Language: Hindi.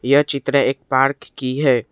यह चित्र एक पार्क की है।